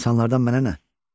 İnsanlardan mənə nə?